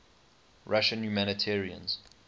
russian humanitarians